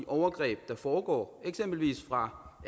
overgreb der foregår eksempelvis fra